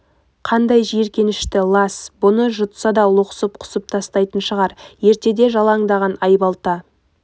қандай жиіркенішті лас бұны жұтса да лоқсып құсып тастайтын шығар ертеде жалаңдаған айбалта